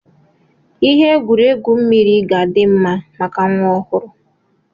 Ihe egwuregwu mmiri ga-adị mma maka nwa ọhụrụ